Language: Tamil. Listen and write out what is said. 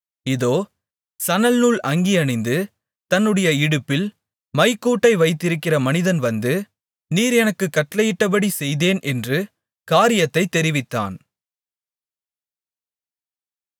இதோ சணல்நூல் அங்கி அணிந்து தன்னுடைய இடுப்பில் மைக்கூட்டை வைத்திருக்கிற மனிதன் வந்து நீர் எனக்குக் கட்டளையிட்டபடி செய்தேன் என்று காரியத்தைத் தெரிவித்தான்